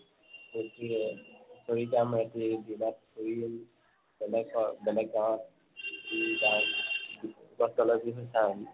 সেইতুৱে